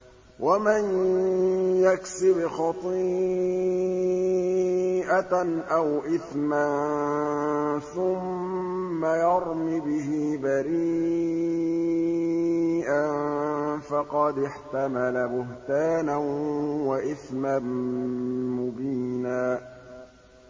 وَمَن يَكْسِبْ خَطِيئَةً أَوْ إِثْمًا ثُمَّ يَرْمِ بِهِ بَرِيئًا فَقَدِ احْتَمَلَ بُهْتَانًا وَإِثْمًا مُّبِينًا